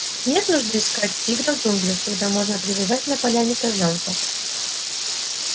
нет нужды искать тигра в джунглях когда можно привязать на поляне козлёнка